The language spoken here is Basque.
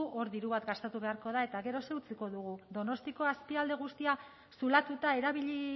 hor diru bat gastatu beharko da eta gero zer utziko dugu donostiako azpialde guztia zulatuta erabili